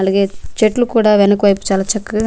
అలాగే చెట్లు కూడా వెనుక వైపు చాలా చక్కగా--